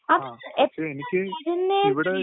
അത് എപ്പഴാ വരുന്നേ?